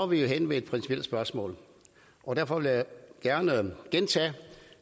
vi jo henne ved et principielt spørgsmål og derfor vil jeg gerne gentage